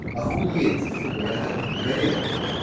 охуеть сука я сгорел блядь